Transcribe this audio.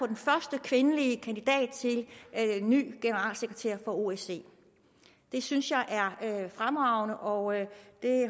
den første kvindelige kandidat til ny generalsekretær for osce det synes jeg er fremragende og jeg